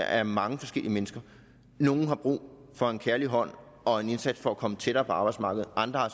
er mange forskellige mennesker nogle har brug for en kærlig hånd og en indsats for at komme tættere på arbejdsmarkedet andre har